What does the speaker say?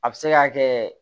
A bɛ se ka kɛ